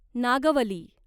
Nagavali